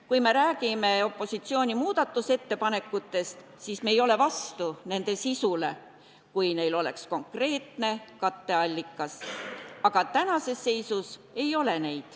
Kui me räägime opositsiooni muudatusettepanekutest, siis me ei oleks vastu nende sisule, kui neil oleks konkreetne katteallikas, aga praegu neid ei ole.